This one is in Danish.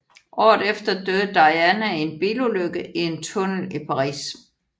Året efter døde Diana i en bilulykke i en tunnel i Paris